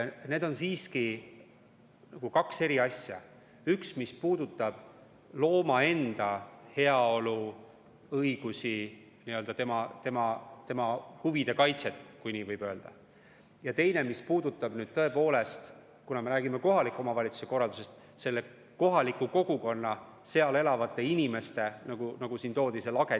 On siiski kaks eri asja: üks puudutab looma enda heaolu, õigusi, tema huvide kaitset, kui nii võib öelda, ja teine puudutab, kuna me räägime kohaliku omavalitsuse korraldusest, kohaliku kogukonna, seal elavate inimeste huvide ja turvalisuse kaitset.